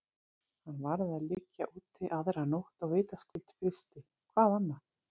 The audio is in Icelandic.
Hann varð að liggja úti aðra nótt og vitaskuld frysti, hvað annað?